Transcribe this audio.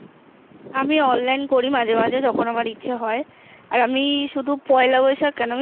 আমি অনলাইন করি মাঝে মাঝে যখন আমার ইচ্ছা হয় আমি শুধু পয়লা বৈশাখ কেন